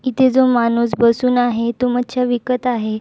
इथे जो माणूस बसून आहे तो मच्छि विकत आहे.